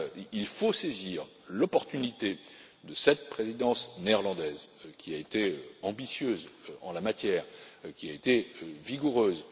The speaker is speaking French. Il faut saisir l'opportunité de cette Présidence néerlandaise, qui a été ambitieuse en la matière et qui a été vigoureuse.